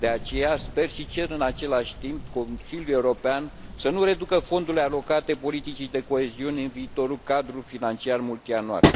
De aceea, sper și cer în același timp Consiliului European să nu reducă fondurile alocate politicii de coeziune în viitorul cadru financiar multianual.